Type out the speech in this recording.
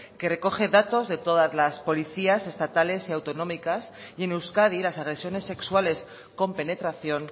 que recoge datos de todas las policías estatales y autonómicas y en euskadi las agresiones sexuales con penetración